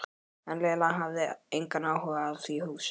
En Lena hafði engan áhuga á því húsi.